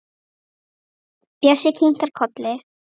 Bjössi kinkar kolli.